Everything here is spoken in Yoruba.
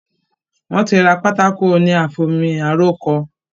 Wọ́n ti ra pátákó oní àfi omi aró kọ.